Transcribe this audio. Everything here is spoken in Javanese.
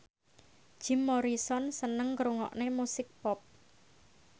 Jim Morrison seneng ngrungokne musik pop